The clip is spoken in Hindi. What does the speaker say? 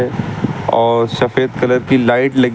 और सफेद कलर की लाइट लगी--